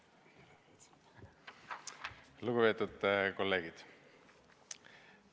Lugupeetud kolleegid!